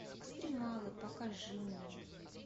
экстремалы покажи мне